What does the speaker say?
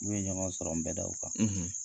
Min bɛ ɲɔgɔn sɔrɔ nbɛdaw kan,